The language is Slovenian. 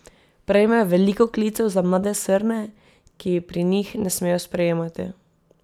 Prejmejo veliko klicev za mlade srne, ki ji pri njih ne smejo sprejemati.